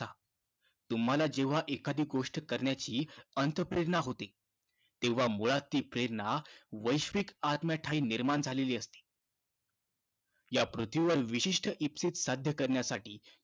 तुम्हाला जेव्हा एखादी गोष्ट करण्याची अंतःप्रेरणा होते, तेव्हा मुळात ती प्रेरणा वैश्विक आत्म्याठायी निर्माण झालेली असते. या पृथ्वीवर विशिष्ट इप्सित साध्य करण्यासाठी